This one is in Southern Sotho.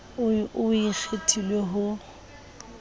oo o o kgethileng ho